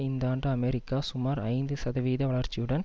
இந்த ஆண்டு அமெரிக்கா சுமார் ஐந்து சதவீத வளர்ச்சியுடன்